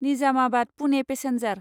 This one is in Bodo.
निजामाबाद पुने पेसेन्जार